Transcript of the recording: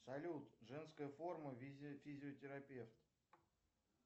салют женская форма физиотерапевт